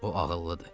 O ağıllıdır.